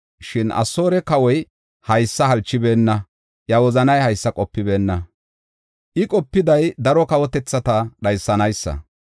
Shin Asoore kawoy haysa halchibeenna; iya wozanay haysa qopibeenna. I qopiday daro kawotethata dhaysanaasa.